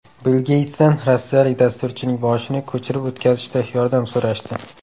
Bill Geytsdan rossiyalik dasturchining boshini ko‘chirib o‘tkazishda yordam so‘rashdi.